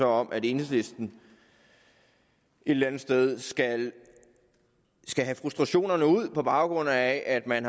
om at enhedslisten et eller andet sted skal skal have frustrationerne ud på baggrund af at man